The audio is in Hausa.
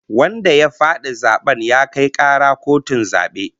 Wanda ya fadi zaben ya kai kara kotun zabe